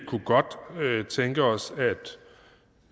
kunne godt tænke os